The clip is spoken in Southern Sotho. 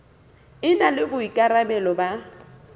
e na le boikarabelo ba